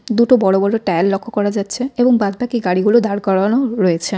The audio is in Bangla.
দুটো বড় বড় টায়ার লক্ষ করা যাচ্ছে এবং বাদবাকি গাড়িগুলো দাঁড় করানো রয়েছে।